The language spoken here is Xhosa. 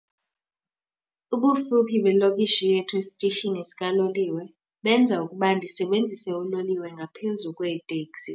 Ubufuphi belokishi yethu esitishini sikaloliwe benza ukuba ndisebenzise uloliwe ngaphezu kweeteksi.